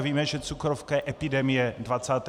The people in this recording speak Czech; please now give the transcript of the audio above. A víme, že cukrovka je epidemie 21. století.